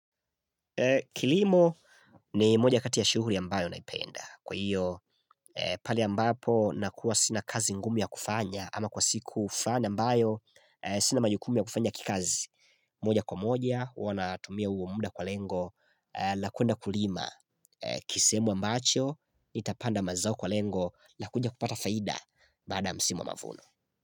Kilimo ni moja katia shughuli ambayo naipenda Kwa hiyo pale ambapo nakuwa sina kazi ngumu ya kufanya ama kwa siku ufanya ambayo sina majukumu ya kufanya kikazi moja kwa moja huwa natumia huo muda kwa lengo la kuenda kulima kisehemu ambacho Nitapanda mazao kwa lengo la kuja kupata faida baada msimu wa mavuno.